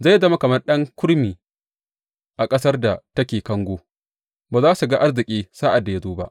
Zai zama kamar ɗan kurmi a ƙasar da take kango; ba za su ga arziki sa’ad da ya zo ba.